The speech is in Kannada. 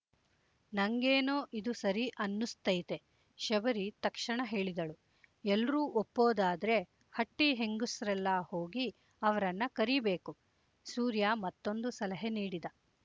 ನಂಗೇನೊ ಇದು ಸರಿ ಅನ್ನುಸ್ತೈತೆ ಶಬರಿ ತಕ್ಷಣ ಹೇಳಿದಳು ಎಲ್ರೂ ಒ ಪ್ಪಾದಾದ್ರೆ ಹಟ್ಟಿ ಹೆಂಗುಸ್ರೆಲ್ಲ ಹೋಗಿ ಅವ್ರನ್ನ ಕರೀಬೇಕು ಸೂರ್ಯ ಮತ್ತೊಂದು ಸಲಹೆ ನೀಡಿದ